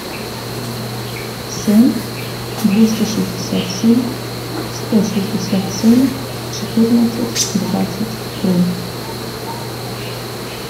семь двести шестьдесят семь сто шестьдесят семь четырнадцать двадцать три